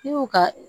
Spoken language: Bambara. I y'u ka